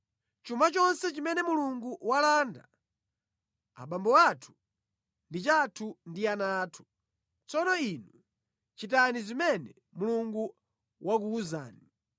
Chuma chonse chimene Mulungu walanda abambo athu, ndi chathu ndi ana athu. Tsono inu chitani zimene Mulungu wakuwuzani.”